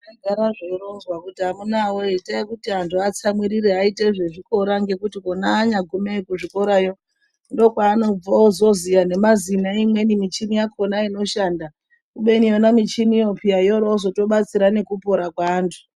Zvagara zveironzwa kuti amunaawee itai kuti antu atsamwirire aite zvezvikora ngekuti ona anyagumeyo kuzvikorayo ndokwanobva ozoziya nemazina eimweni michini yakhona inoshanda kubeni yona michiniyo peya yoroozoto batsira nekupora kweantu.